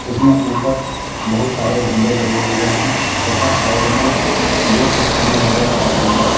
इसमें ऊपर बहुत सारे झंडे लगे हुए हैं तथा साइड में दो स्थम्ब नजर आ रहे हैं।